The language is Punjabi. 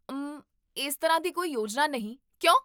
ਉਮ, ਇਸ ਤਰ੍ਹਾਂ ਦੀ ਕੋਈ ਯੋਜਨਾ ਨਹੀਂ, ਕਿਉਂ?